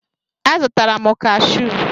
A zụtara m kashụ